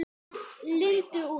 Lindu út.